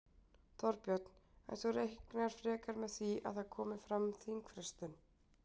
Þorbjörn: En þú reiknar frekar með því að það komi fram fyrir þingfrestun?